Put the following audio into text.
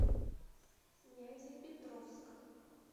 нязепетровск